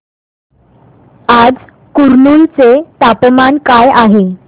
आज कुरनूल चे तापमान काय आहे